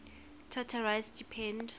charter rights depend